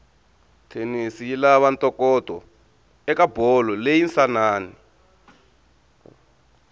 tennis yilava ntokoto ekabholo leyinsanani